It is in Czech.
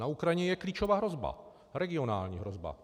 Na Ukrajině je klíčová hrozba, regionální hrozba.